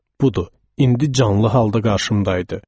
Budur, indi canlı halda qarşımda idi.